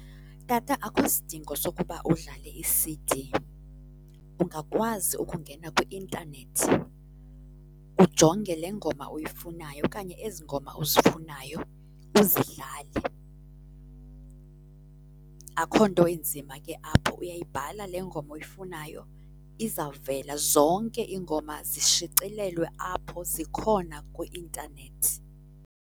Tata, akukho sidingo sokuba udlale i-C_D. Ungakwazi ukungena kwi intanethi ujonge le ngoma uyifunayo okanye ezi ngoma uzifunayo uzidlale. Akukho nto inzima ke apho uyayibhala le ngoma oyifunayo, izawuvela. Zonke iingoma zishicilelwe apho, zikhona kwi-intanethi.